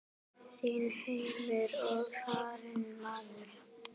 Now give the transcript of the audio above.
Þinn heimur er farinn maður.